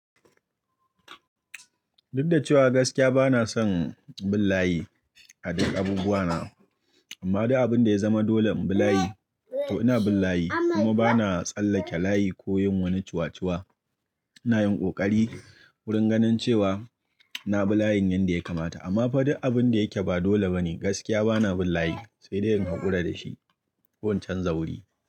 Duk da cewa gaskiya bana son bin layi a duk abubuwa na, amma duk abun da ya zama dole mu bi layi to ina bin layi. Kuma bana tsallake layi ko yin wani cuwa-cuwa. Ina yin ƙoƙari wurin ganin cewa na bi layin yanda ya kamata. Amma fa duk abun da yake ba dole bane gaskiya bana bin layi sai dai in haƙura da shi ko in canza wuri.